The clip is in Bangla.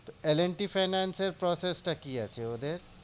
এল এন্ড টি ফাইন্যান্সের process টা কি আছে ওদের?